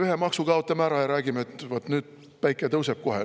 Ühe maksu kaotavad ära ja räägivad, et vaat nüüd päike tõuseb kohe.